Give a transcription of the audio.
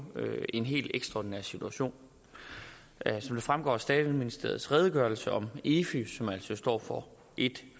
en helt ekstraordinær situation som det fremgår af skatteministeriets redegørelse om efi som jo altså står for ét